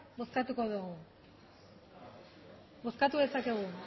bozkatuko dugu bozkatu dezakegu